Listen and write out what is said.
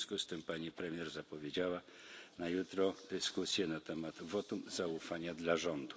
W związku z tym pani premier zapowiedziała na jutro dyskusję na temat votum zaufania dla rządu.